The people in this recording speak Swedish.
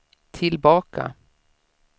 tillbaka